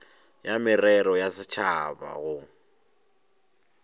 ya merero ya setšhaba go